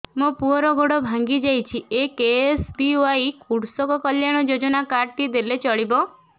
ମୋ ପୁଅର ଗୋଡ଼ ଭାଙ୍ଗି ଯାଇଛି ଏ କେ.ଏସ୍.ବି.ୱାଇ କୃଷକ କଲ୍ୟାଣ ଯୋଜନା କାର୍ଡ ଟି ଦେଲେ ଚଳିବ